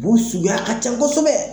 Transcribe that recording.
Bu suguya ka can kosɛbɛ